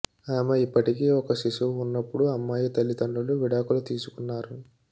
ఆమె ఇప్పటికీ ఒక శిశువు ఉన్నప్పుడు అమ్మాయి తల్లితండ్రులు విడాకులు తీసుకున్నారు